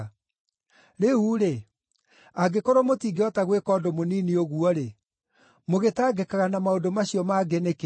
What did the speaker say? Rĩu-rĩ, angĩkorwo mũtingĩhota gwĩka ũndũ mũnini ũguo-rĩ, mũgĩtangĩkaga na maũndũ macio mangĩ nĩkĩ?”